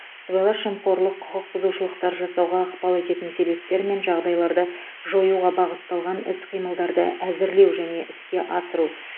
сыбайлас жемқорлық құқық бұзушылықтар жасауға ықпал ететін себептер мен жағдайларды жоюға бағытталған іс қимылдарды әзірлеу және іске асыру